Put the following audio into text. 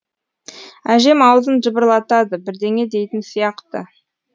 әжем аузын жыбырлатады бірдеңе дейтін сияқты